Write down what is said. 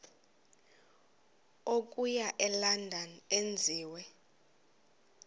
okuya elondon enziwe